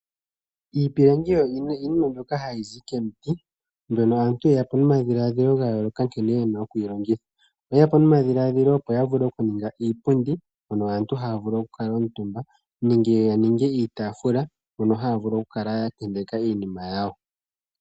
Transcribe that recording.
Iipilangi oyo iinima mbyoka hayi zi komiti. Mbyono aantu yeya po nomadhiladhilo ga yooloka nkene yena oku yilongitha. Oyeya po nomadhiladhilo opo ya vule okuninga iipundi hono aantu haya vulu okukala omutumba nenge yaninge iitaafula hono haya vulu okukala ya tenteka iinima yawo.